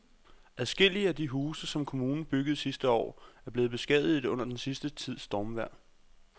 Adskillige af de huse, som kommunen byggede sidste år, er blevet beskadiget under den sidste tids stormvejr.